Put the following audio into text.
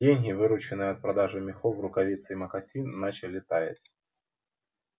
деньги вырученные от продажи мехов рукавиц и мокасин начали таять